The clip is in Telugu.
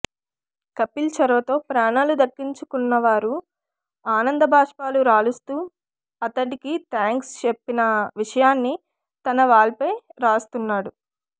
కపిల్ చొరవతో ప్రాణాలు దక్కించున్నవారు ఆనంద భాష్పాలు రాలుస్తూ అతడికి థ్యాంక్స్ చెప్పిన విషయాన్ని తన వాల్పై రాసుకొచ్చాడు